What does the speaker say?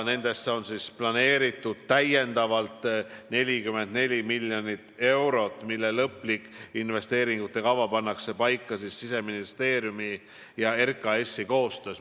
Nendesse on planeeritud täiendavalt 44 miljonit eurot, lõplik investeeringute kava pannakse paika Siseministeeriumi ja RKAS-i koostöös.